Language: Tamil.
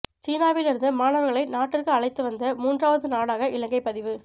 சீனாவிலிருந்து மாணவர்களை நாட்டிற்கு அழைத்து வந்த மூன்றாவது நாடாக இலங்கை பதிவு